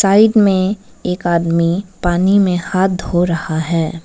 Side में एक आदमी पानी में हाथ धो रहा है।